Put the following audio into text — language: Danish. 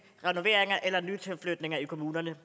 renoveringer eller nytilflyttere i kommunerne